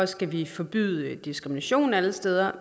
skal vi forbyde diskrimination alle steder